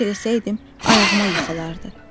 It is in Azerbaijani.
xahiş eləsəydim, ayağıma yıxılardı.